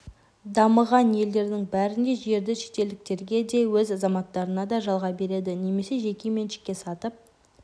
дамыған елдердің бәрінде жерді шетелдіктерге де өз азаматтарына да жалға береді немесе жеке меншікке сатып